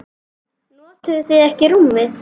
Notuðuð þið ekki rúmið?